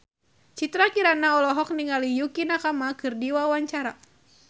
Citra Kirana olohok ningali Yukie Nakama keur diwawancara